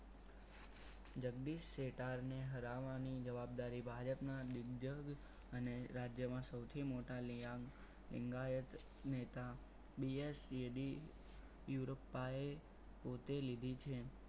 જગદીશ શેતાર ને હરાવવાની જવાબદારી ભાજપના દિગ્જક અને રાજ્યમાં સૌથી મોટા લેઆંગ એમના એક નેતા DS જેડી યુરોપાઈ પોતે લીધી છે.